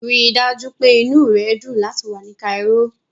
Rí i dájú pé inú rẹ dùn láti wà ní Cairo.